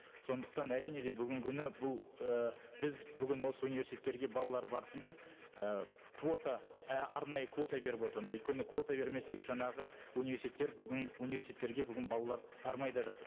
сондықтан әрине де бүгінгі күні бұл ііі біз бүгін осы университеттерге балалар барсын деп і квота арнайы квота беріп отырмыз өйткені квота бермесек жаңағы университеттер бүгін университеттерге бүгін балалар бармай да жатыр